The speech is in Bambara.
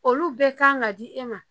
Olu bɛɛ kan ka di e ma